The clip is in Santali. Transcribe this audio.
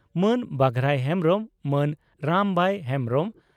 ᱢᱟᱱ ᱵᱟᱜᱷᱨᱟᱭ ᱦᱮᱢᱵᱽᱨᱚᱢ ᱢᱟᱱ ᱨᱟᱢᱵᱟᱭ ᱦᱮᱢᱵᱽᱨᱚᱢ